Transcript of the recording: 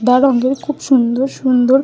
সাদা রঙের খুব সুন্দর সুন্দর--